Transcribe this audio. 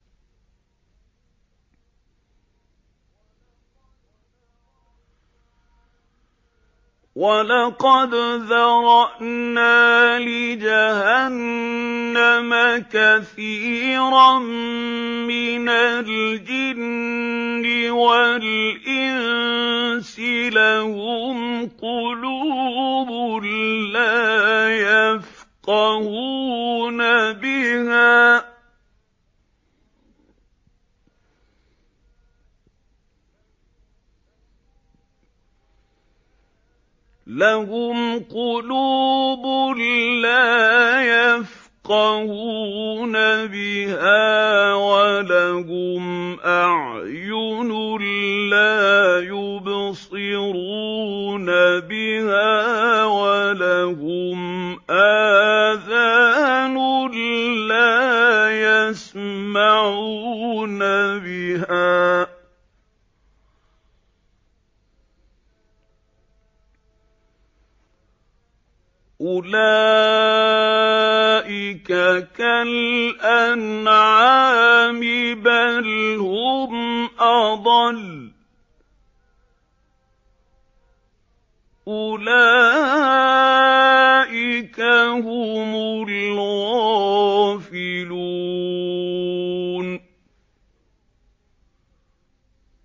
وَلَقَدْ ذَرَأْنَا لِجَهَنَّمَ كَثِيرًا مِّنَ الْجِنِّ وَالْإِنسِ ۖ لَهُمْ قُلُوبٌ لَّا يَفْقَهُونَ بِهَا وَلَهُمْ أَعْيُنٌ لَّا يُبْصِرُونَ بِهَا وَلَهُمْ آذَانٌ لَّا يَسْمَعُونَ بِهَا ۚ أُولَٰئِكَ كَالْأَنْعَامِ بَلْ هُمْ أَضَلُّ ۚ أُولَٰئِكَ هُمُ الْغَافِلُونَ